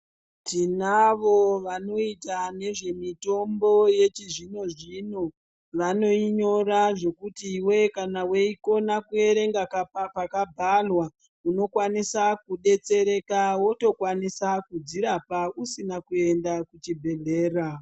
Tinavo vanoita nezvemitombo yechizvino zvino. Vanoinyora zvekuti iwe kana weikona kuerenga pakabharwa unokwanisa kudetsereka. Wotokwanisa kudzirapa usina kuenda kuchibhedhlera.